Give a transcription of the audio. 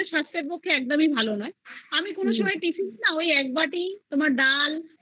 এগুলো তো আমাদের সাস্থের পক্ষে একদম এই ভালো না আমি কোনসময় না tiffin এ ওই একবাটি ডাল